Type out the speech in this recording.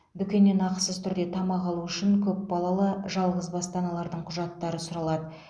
дүкеннен ақысыз түрде тамақ алу үшін көпбалалы жалғызбасты аналардың құжаттары сұралады